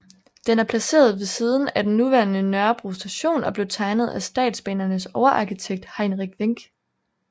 Den er placeret ved siden af den nuværende Nørrebro Station og blev tegnet af Statsbanernes overarkitekt Heinrich Wenck